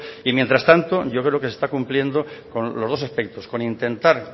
y mientras tanto yo creo que se está cumpliendo con los dos aspectos con intentar